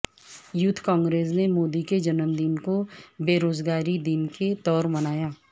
youth Congress نے مودی کے جنم دن کو بیروزگاری دن کے طور منایا